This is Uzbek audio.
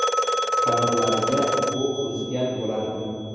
Qanotlariga o‘q uzgan bo‘lardim.